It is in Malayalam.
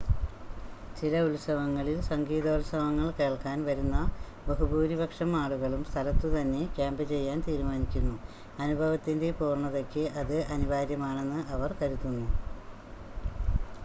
ചില ഉത്സവങ്ങളിൽ സംഗീതോത്സവങ്ങൾ കേൾക്കാൻ വരുന്ന ബഹുഭൂരിപക്ഷം ആളുകളും സ്ഥലത്തുതന്നെ ക്യാമ്പ് ചെയ്യാൻ തീരുമാനിക്കുന്നു അനുഭവത്തിൻ്റെ പൂർണ്ണതയ്ക്ക് അത് അനിവാര്യമാണെന്ന് അവർ കരുതുന്നു